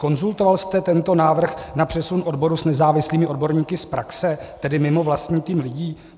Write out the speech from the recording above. Konzultoval jste tento návrh na přesun odboru s nezávislými odborníky z praxe, tedy mimo vlastní tým lidí?